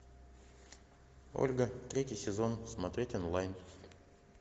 ольга третий сезон смотреть онлайн